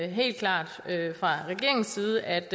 helt klart fra regeringens side at